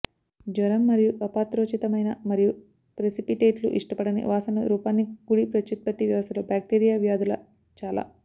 జ్వరం మరియు అపాత్రోచితమైన మరియు ప్రెసిపిటేట్లు ఇష్టపడని వాసనలు రూపాన్ని కూడి ప్రత్యుత్పత్తి వ్యవస్థలో బాక్టీరియా వ్యాధుల చాలా